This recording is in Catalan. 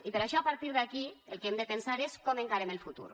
i per això a partir d’aquí el que hem de pensar és com encarem el futur